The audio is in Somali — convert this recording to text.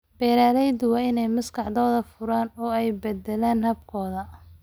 Beeralayda waa in ay maskaxdooda furaan oo ay beddelaan habkooda.